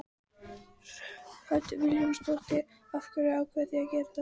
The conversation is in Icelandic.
Hödd Vilhjálmsdóttir: Af hverju ákváðuð þið að gera þetta?